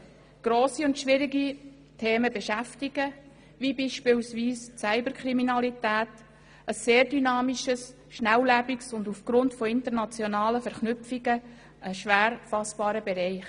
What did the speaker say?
Grosse und schwierige Themen beschäftigen, wie beispielsweise die Cyberkriminalität, ein sehr dynamischer, schnelllebiger und aufgrund von internationalen Verknüpfungen schwer fassbarer Bereich.